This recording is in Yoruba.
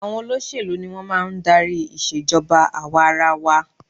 Àwọn olóṣèlú ni wọn máa ń darí ìṣe ìjọba àwa-ara-wa